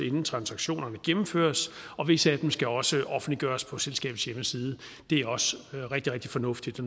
inden transaktionerne gennemføres og visse af dem skal også offentliggøres på selskabets hjemmeside det er også rigtig rigtig fornuftigt